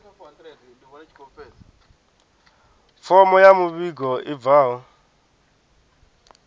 fomo ya muvhigo i bvaho